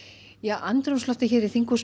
andrúmsloftið hér í þinghúsinu